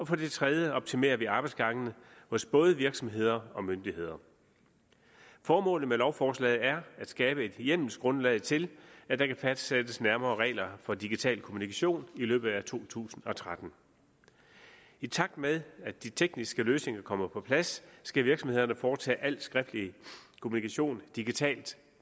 for det tredje optimerer vi arbejdsgangene hos både virksomheder og myndigheder formålet med lovforslaget er at skabe et hjemmelsgrundlag til at der kan fastsættes nærmere regler for digital kommunikation i løbet af to tusind og tretten i takt med at de tekniske løsninger kommer på plads skal virksomhederne foretage al skriftlig kommunikation digitalt